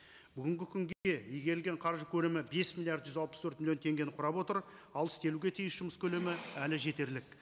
бүгінгі игерілген қаржы көлемі бес миллиард жүз алпыс төрт миллион теңгені құрап отыр ал істелуге тиіс жұмыс көлемі әлі жетерлік